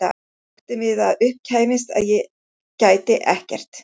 Óttinn við að upp kæmist að ég gæti ekkert.